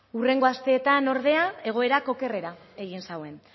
hurrengo asteetan ordea egoerak okerrera egin zuen